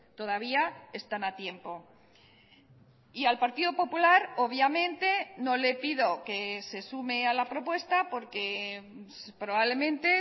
todavía están a tiempo y al partido popular obviamente no le pido que se sume a la propuesta porque probablemente